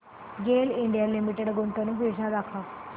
गेल India Limited गुंतवणूक योजना दाखव